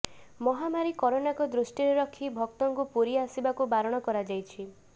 ମହାମାରୀ କରୋନାକୁ ଦୃଷ୍ଟିରେ ରଖି ଭକ୍ତଙ୍କୁ ପୁରୀ ଆସିବାକୁ ବାରଣ କରାଯାଇଛି